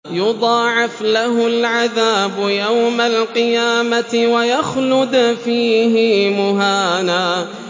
يُضَاعَفْ لَهُ الْعَذَابُ يَوْمَ الْقِيَامَةِ وَيَخْلُدْ فِيهِ مُهَانًا